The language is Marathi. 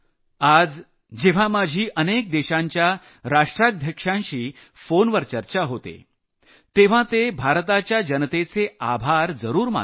आज जेव्हा माझी अनेक देशांच्या राष्ट्राध्यक्षांशी फोनवर चर्चा होते तेव्हा ते भारताच्या जनतेचे आभार जरूर मानतात